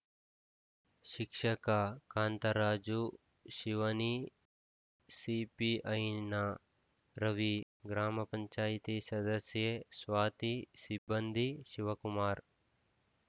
ಶಿಕ್ಷಕ ಕಾಂತರಾಜು ಶಿವನಿ ಸಿಪಿಐನ ರವಿ ಗ್ರಾಮ ಪಂಚಾಯತಿ ಸದಸ್ಯೆ ಸ್ವಾತಿ ಸಿಬ್ಬಂದಿ ಶಿವಕುಮಾರ್‌